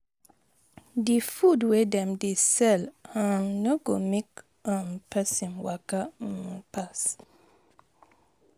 Di food wey dem dey sell um no go make[um] person waka[um] pass.